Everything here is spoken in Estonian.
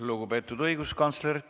Lugupeetud õiguskantsler!